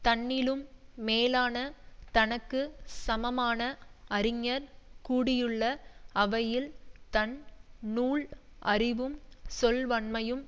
தன்னிலும் மேலான தனக்கு சமமான அறிஞர் கூடியுள்ள அவையில் தன் நூல் அறிவும் சொல்வன்மையும்